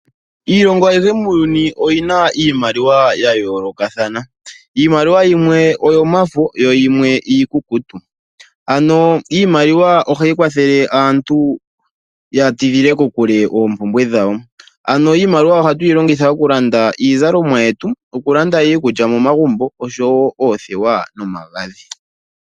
Iilongo ayihe muuyuni oyi na iimaliwa ya yoolokathana. Iimaliwa yimwe oyomafo na yimwe iikukutu. Ohayi kwathele aantu ya tidhile kokule oompumbwe dhawo. Ano iimaliwa ohatu yi longithwa okulanda iizalomwa, iikulya nosho woo oothewa nomagadhi .